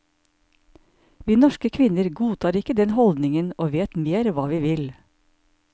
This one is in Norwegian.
Vi norske kvinner godtar ikke den holdningen og vet mer hva vi vil.